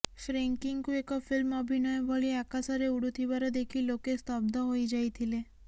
ଫ୍ରେଙ୍କିଙ୍କୁ ଏକ ଫିଲ୍ମ ଅଭିନୟ ଭଳି ଆକାଶରେ ଉଡ଼ୁଥିବାର ଦେଖି ଲୋକେ ସ୍ତବ୍ଧ ହୋଇଯାଇଥିଲେ